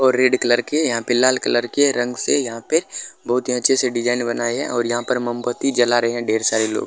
और red colour के और यहां पे रंग से यहां पे बहुत से अच्छे से डिज़ाइन बनाये है और यहां पे मोमबत्ती जला रहे है ढेर सारे लोग---